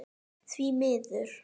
Því miður.